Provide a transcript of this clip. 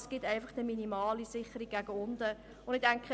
Es gibt einfach eine minimale Sicherung gegen unten.